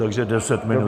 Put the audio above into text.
Takže 10 minut.